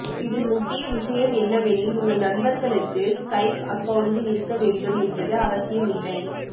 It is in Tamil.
இதில் முக்கிய விஷயம் என்னவெனில் உங்கள் நண்பர்களுக்கு ஸ்கைப் அக்கவுண்ட் இருக்க வேண்டும் என்பது அவசியம் இல்லை